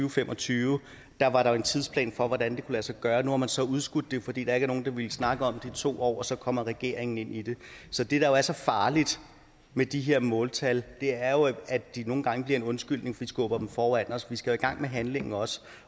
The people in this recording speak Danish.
og fem og tyve var der jo en tidsplan for hvordan det kunne lade sig gøre og nu har man så udskudt det fordi der ikke var nogen der ville snakke om det i to år og så kommer regeringen ind i det så det der jo er så farligt med de her måltal er jo at de nogle gange bliver en undskyldning og vi skubber dem foran os vi skal i gang med handling også